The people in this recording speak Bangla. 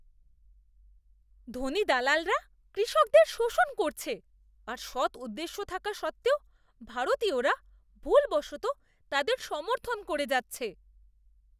ধনী দালালরা কৃষকদের শোষণ করছে আর সৎ উদ্দেশ্য থাকা সত্ত্বেও ভারতীয়রা ভুলবশত তাদের সমর্থন করে যাচ্ছে।